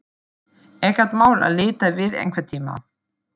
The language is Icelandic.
Ekkert mál að líta við einhvern tíma.